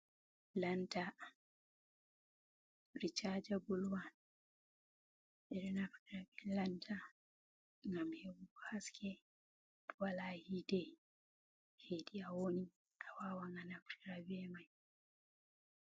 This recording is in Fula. Lanta ricaajabul wan, ɓeɗo naftira be lanta ngam heɓugo haske ko wala hite hedi awoni awawan anaftira bemai.